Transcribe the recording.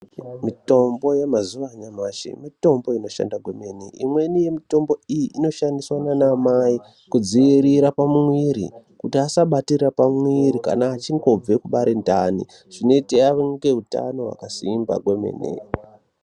Mitombo yamazuva anyamashi mitombo inoshanda kwemene, imweni yemitombo iyi inoshandiswa nanamai kudziyirira pamwiri kuti asabatira pamwiri kana achingobve kubare ndani zvinoita ave neutano hwakasimba kwemene.